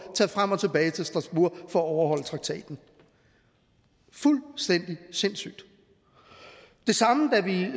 tage frem og tilbage til strasbourg for at overholde traktaten fuldstændig sindssygt det samme da vi